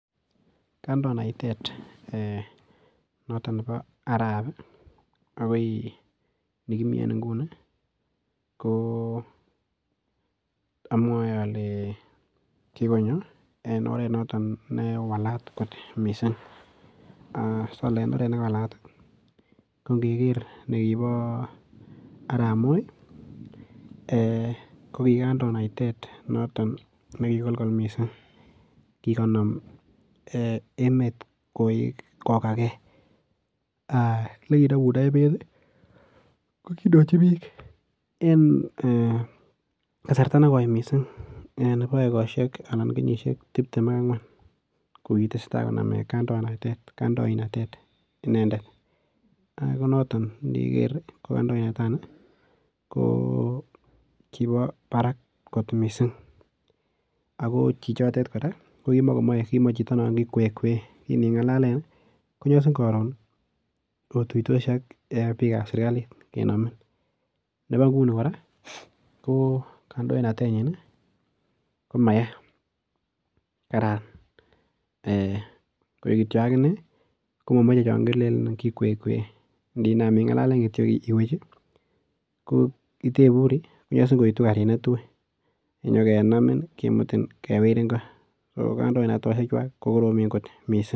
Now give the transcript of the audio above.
Kandoinatet nebo Arap akoi nikimii en ingunii ko amwoe olee kikonyo en oret newalat kot mising, solee en oret newalat kondiker nibo arap Moi eeh ko kikandoinatet ne kikolkol mising kikonom emet kokake, elekinomundo emet ko kindochi biik en kasarta nekoi mising nebo ekoshek anan nebo kenyishek tibtem ak angwan ko kitesetai konome kandoinatet ineendet, ak noton indiker kandoinata noton ko kibo barak kot mising ak ko chichotet kora ko kimakomoche chito non kikwekwe, kiningalalen konyosin koron otuitosi ak biikab serikalit kenomin nebo nguni kora ko kandoinatenyin komaya kararan koik kityo akinee komomoche chon kilelen kikwekwe, indinam ingalalen kitio iwech ko iteburi konyosin koitu karit netui kinyokenamin kimutin kewirin koo ko kandoinatoshe chu oeng ko koromen kot mising.